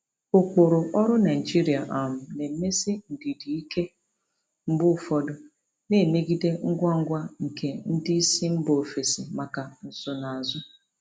Ụkpụrụ ọrụ Naijiria um na-emesi ndidi ike mgbe ụfọdụ, na-emegide ngwa ngwa nke ndị isi mba ofesi maka nsonaazụ.